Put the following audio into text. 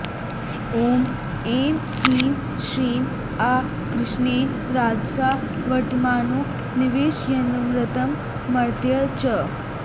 ॐ ऐं ह्रीं श्रीं आ कृष्णेन रजसा वर्तमानो निवेशयन्नमृतं मर्त्य च